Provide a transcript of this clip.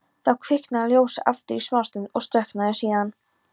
Þá kviknaði ljósið aftur í smástund og slökknaði síðan.